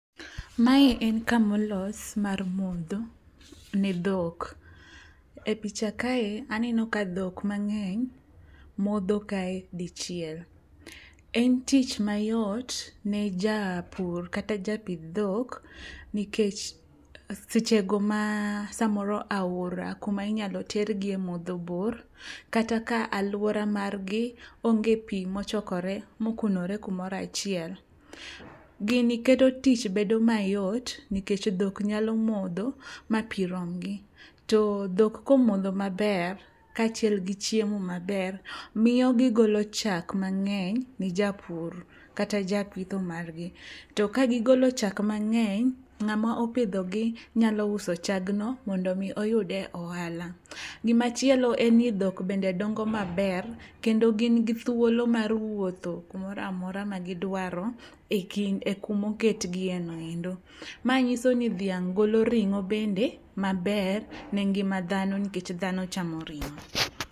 Mae en kamolos mar modho ne dhok. E picha kae aneno ka dhok mang'eny modho kae dichiel, en tich mayot ne japur kata japidh dhok nikech sechego ma samoro aora kuma inyalo tergi e modho bor kata ka alwora margi onge pi mochokore mokunore kumoro achiel. Gini keto tich bedo mayot nikech dhok nyalo modho ma pi romgi. To dhok komodho maber kaachiel gi chiemo maber miyo gigolo chak mang'eny ni japur kata japitho margi. To kagigolo chak mang'eny ng'ama opidhogi nyalo uso chagno mondo omi oyude ohala. Gimachielo en ni dhok dongo maber kendo gin gi thuolo mar wuotho kumoro amora magidwaro e kumoketgieo endo. Ma ng'iso ni dhiang' golo ring'o maber bende ne ngima dhano nikech dhano chamo ring'o.